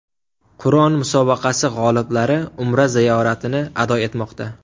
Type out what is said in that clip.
Qur’on musobaqasi g‘oliblari Umra ziyoratini ado etmoqda .